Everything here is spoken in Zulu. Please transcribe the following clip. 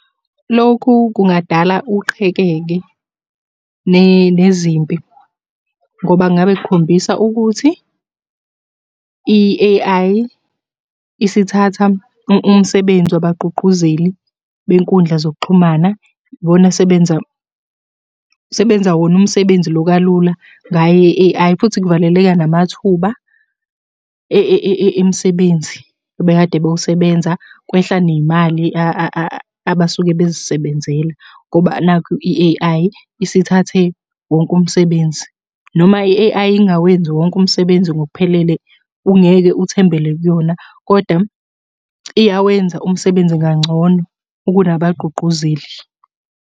Lokhu kungadala uqhekeke nezimpi, ngoba ngabe kukhombisa ukuthi i-A_I isithatha umsebenzi wabagqugquzeli benkundla zokuxhumana. Ibona esebenza, sebenza wona umsebenzi lo kalula ngaye-A_I, futhi kuvaleleka namathuba emisebenzi ebekade bewusebenza. Kwehla ney'mali abasuke bezisebenzela, ngoba nakhu i-A_I isithathe wonke umsebenzi, noma i-A_I ingawenzi wonke umsebenzi ngokuphelele, ungeke uthembele kuyona, koda iyawenza umsebenzi kangcono kunabagqugquzeli.